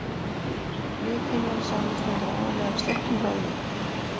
Lithimnan samanstendur aðallega af sléttum vöðvum.